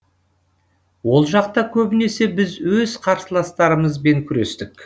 ол жақта көбінесе біз өз қарсыластарымызбен күрестік